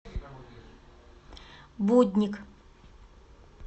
будник